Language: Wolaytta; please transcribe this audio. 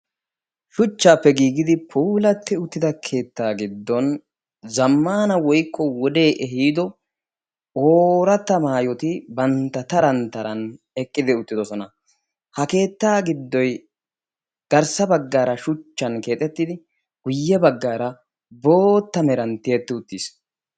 shchchaappe giigidi puulatti uttida keettaa giddon zammaana woyikko wodee ehiido ooratta mayyoti bantta taran taran eqqidi uttidosona. ha keettaa giddoy gatrssa baggaara shuchchan keexettidi guyye baggaara bootta meran tiyetti uttis.